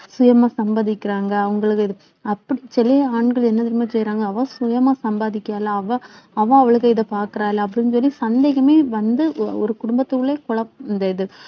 சுயமா சம்பாதிக்கிறாங்க அவங்களுக்கு அப்படி சிலய ஆண்கள் என்ன தெரியுமா செய்றாங்க அவ சுயமா சம்பாதிக்கறால அவ அவ அவளுக்கு இத பாக்குறாள அப்படின்னு சொல்லி சந்தேகமே வந்து ஒரு குடும்பத்துக்குள்ளயே குழ~ இந்த இது